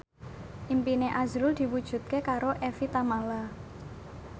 impine azrul diwujudke karo Evie Tamala